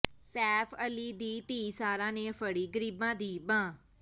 ਸੈਫ ਅਲੀ ਦੀ ਧੀ ਸਾਰਾ ਨੇ ਫੜ੍ਹੀ ਗਰੀਬਾਂ ਦੀ ਬਾਂਹ